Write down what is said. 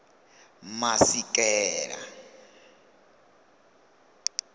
masikela